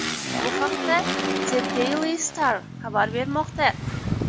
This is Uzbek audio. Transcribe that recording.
Bu haqda The Daily Star xabar bermoqda .